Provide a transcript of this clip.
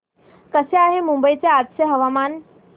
कसे आहे मुंबई चे आजचे हवामान